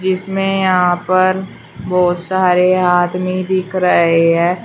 इसमें यहां पर बहुत सारे आदमी दिख रहे हैं।